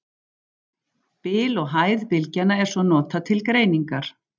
Bil og hæð bylgjanna er svo notað til greiningar.